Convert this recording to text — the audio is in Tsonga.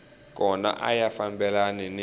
kona a ya fambelani ni